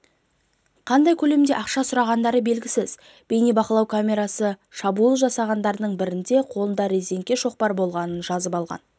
қандай көлемде ақша сұрағандары белгісіз бейнебақылау камерасы шабуыл жасағандардың бірінің қолында резеңке шоқпар болғанын жазып алған